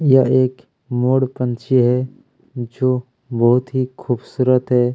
यह एक मोर पंछी है जो बहुत ही खूबसूरत है।